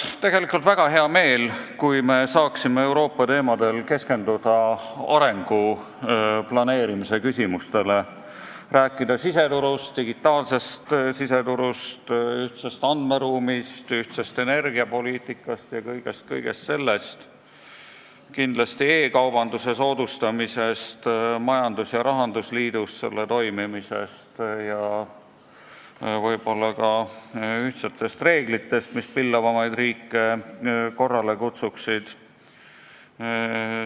Mul oleks väga hea meel, kui me saaksime Euroopa teemadel rääkides keskenduda arengu planeerimise küsimustele: rääkida siseturust, sh digitaalsest siseturust, ühtsest andmeruumist, ühtsest energiapoliitikast ja kõigest muust sellisest, kindlasti ka e-kaubanduse soodustamisest, majandus- ja rahandusliidu toimimisest ja võib-olla ka ühtsetest reeglitest, mis pillavamaid riike korrale kutsuksid.